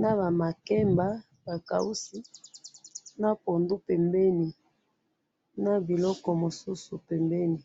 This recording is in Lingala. naba makemba ba kausi na pundu pembeni na biloko mosusu pembeni